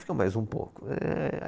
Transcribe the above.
Fica mais um pouco. êê